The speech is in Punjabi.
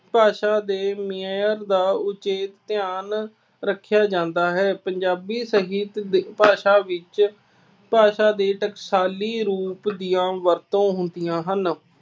ਭਾਸ਼ਾ ਦੇ ਮਿਆਨ ਦਾ ਉਚੇਚ ਧਿਆਨ ਰੱਖਿਆ ਜਾਂਦਾ ਹੈ। ਪੰਜਾਬੀ ਸਾਹਿਤ ਦੀ ਭਾਸ਼ਾ ਵਿੱਚ ਭਾਸ਼ਾ ਦੇ ਟਕਸਾਲੀ ਰੂਪਾ ਦੀਆਂ ਵਰਤੋਂ ਹੁੰਦੀਆਂ ਹਨ।